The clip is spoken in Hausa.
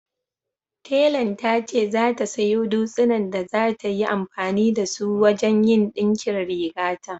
Telan ta ce za ta sayo dutsinan da za ta yi amfani da su wajen yin ɗinkin rigata